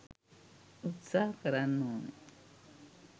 උත්සාහ කරන්න ඕන.